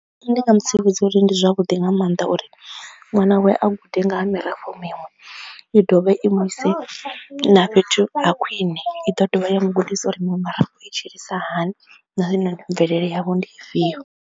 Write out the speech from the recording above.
Ndi nga mu tsivhudza uri ndi zwavhuḓi nga maanḓa uri ṅwana wawe a gude nga ha mirafho miṅwe i dovhe i mu ise na fhethu ha khwine, i ḓo dovha ya mu gudisi uri muṅwe mirafho i tshilisa hani na zwine mvelele yavho ndi ifhio.